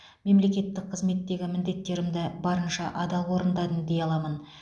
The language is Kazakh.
мемлекеттік қызметтегі міндеттерімді барынша адал орындадым дей аламын